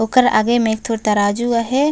ओकर आगे में एक ठो तराजू आहे।